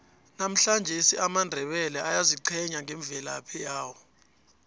namuhlangesi amandebele ayaziqhenya ngemvelaphi yawo